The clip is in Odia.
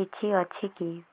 କିଛି ଅଛିକି